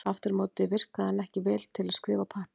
Aftur á móti virkaði hann ekki vel til að skrifa á pappír.